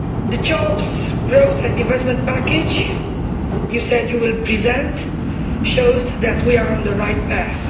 The jobs, growth and investment package which you said you will present shows that we are on the right path.